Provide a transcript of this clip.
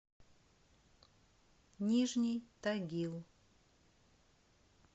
нижний тагил